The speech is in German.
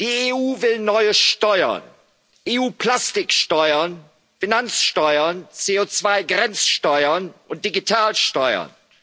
Die EU will neue Steuern EU-Plastiksteuern, Finanzsteuern, CO2 Grenzsteuern und Digitalsteuern.